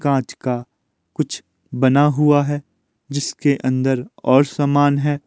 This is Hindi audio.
कांच का कुछ बना हुआ है जिसके अंदर और सामान है।